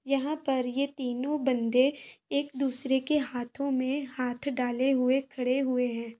यहाँ पर ये तीनों बंदे एक दूसरे के हाथों में हाथ डाले हुए खड़े हुए हैं।